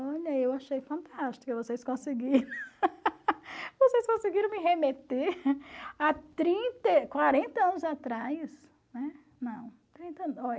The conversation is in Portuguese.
Olha, eu achei fantástico que vocês conseguiram vocês conseguiram me remeter a trinta e, quarenta anos atrás